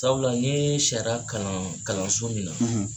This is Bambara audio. Sabula n ye sariya kalan kalanso min na